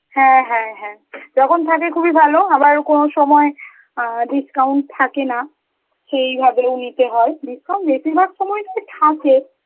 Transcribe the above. হ্যাঁ হ্যাঁ হ্যাঁ যখন থাকে খুবই ভালো, আবার কোন সময় আ discount থাকে না, সেই ভাবেও নিতে হয়, discount বেশিরভাগ সময়টাই থাকে,